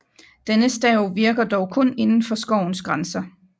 Denne stav virker dog kun indenfor skovens grænser